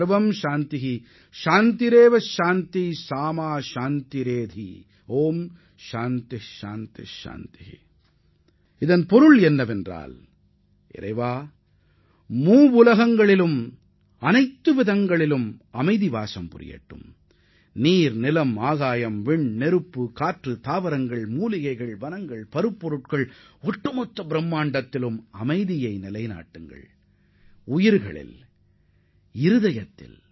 கடவுளே மூன்று லோகங்களிலும் நீர் காற்று நிலம் நெருப்பு சுவாசம் மருந்து தாவரங்கள் தோட்டங்கள் ஆழ்மனது என ஒட்டுமொத்த படைப்புகளிலும் எங்களைச் சுற்றி அமைதி நிலவ வேண்டும்